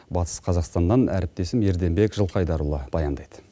батыс қазақстаннан әріптесім ерденбек жылқайдарұлы баяндайды